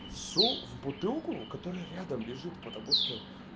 су в бутылку которая рядом лежит потому что